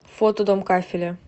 фото дом кафеля